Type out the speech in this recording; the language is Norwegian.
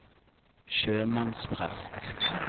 sjømannsprest